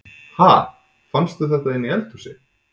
Ha! Fannstu þetta inni í eldhúsi?